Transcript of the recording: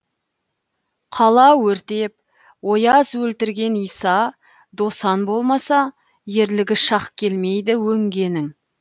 қала өртеп ояз өлтірген иса досан болмаса ерлігі шақ келмейді өңгенің